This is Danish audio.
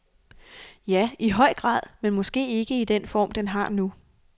Ja, i høj grad, men måske ikke i den form den har nu.